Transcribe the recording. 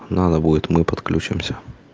надо будет мы подключимся